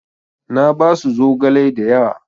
Na basu zogale da yawa.